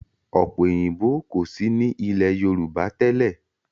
Ọ̀pẹ òyìnbó kò sí ní ilé Yorùbá tẹ́lẹ̀.